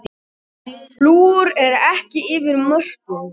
Flúor ekki yfir mörkum